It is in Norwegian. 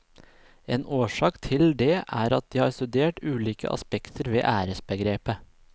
En årsak til det er at de har studert ulike aspekter ved æresbegrepet.